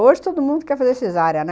Hoje todo mundo quer fazer cesárea, né?